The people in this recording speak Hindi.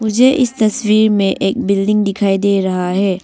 ये इस तस्वीर में एक बिल्डिंग दिखाई दे रहा है।